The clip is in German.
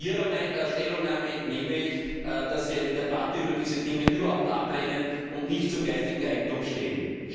Aus Ihrer Stellungnahme entnehme ich, dass Sie eine Debatte über diese Dinge überhaupt ablehnen und nicht zu geistigem Eigentum stehen.